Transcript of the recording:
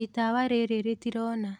Itawa rírí rítirona